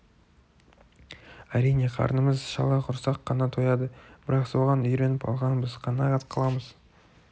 әрине қарнымыз шала құрсақ қана тояды бірақ соған үйреніп алғанбыз қанағат қыламыз